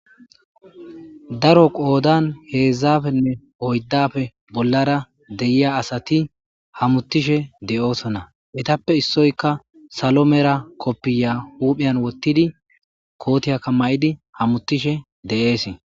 daro qoodan heedzdzafenne oyddafe bollara deyiya asati hamutishe de7oosona mitappe issoyka salo mera koppiya huupheyan wottidi kootiyakka ma7idi hamutishe de7ees